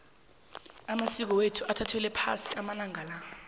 amasiko wethu sewathathelwa phasi amalanga la